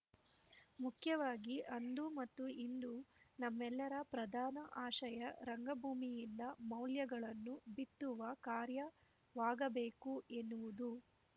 ಮುಖ್ಯವಾಗಿ ಅಂದು ಮತ್ತು ಇಂದು ನಮ್ಮೆಲ್ಲರ ಪ್ರದಾನ ಆಶಯ ರಂಗಭೂಮಿಯಿಂದ ಮೌಲ್ಯಗಳನ್ನು ಬಿತ್ತುವ ಕಾರ್ಯವಾಗಬೇಕು ಎನ್ನುವುದು